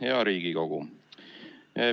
Hea Riigikogu!